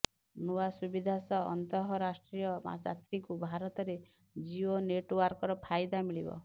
ନୂଆ ସୁବିଧା ସହ ଅନ୍ତଃରାଷ୍ଟ୍ରିୟ ଯାତ୍ରୀଙ୍କୁ ଭାରତରେ ଜିଓ ନେଟୱାର୍କର ଫାଇଦା ମିଳିବ